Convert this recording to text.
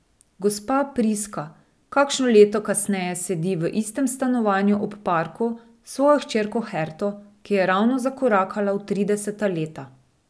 Gospa Priska kakšno leto kasneje sedi v istem stanovanju ob parku s svojo hčerko Herto, ki je ravno zakorakala v trideseta leta.